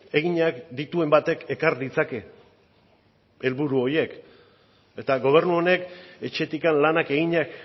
eginak dituen batek ekar ditzake helburu horiek eta gobernu honek etxetik lanak eginak